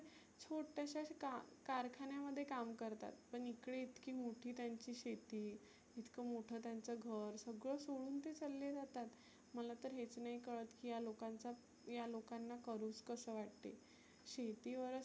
छोट्याश्या का कारखान्यामध्ये काम करतात. पण इकडे इतकी मोठी त्यांची शेती, इतक मोठ त्यांच घर सगळ सोडुन ते चल्ले जातात. मला तर हेच नाही कळत की ह्या लोकांचा, ह्या लोकांना करुच कसे वाटते. शेती वरच